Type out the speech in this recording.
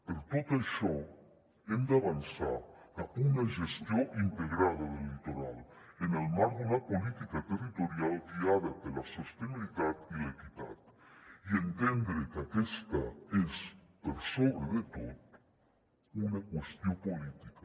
per tot això hem d’avançar cap a una gestió integrada del litoral en el marc d’una política territorial guiada per la sostenibilitat i l’equitat i entendre que aquesta és per sobre de tot una qüestió política